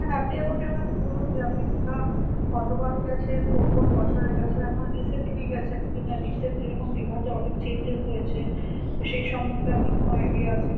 আপনি আমাকে এবার বলুন যে আপনি দীঘা কতবার গেছেন কোন কোন বছরে গেছেন এখন recently গেছেন কি না recent যেরকম দীঘাতে অনেক changes রয়েছে তো সেই সম্বন্ধে আপনার কোনো idea আছে